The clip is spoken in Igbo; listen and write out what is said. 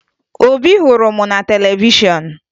Obi hụrụ m na televishọn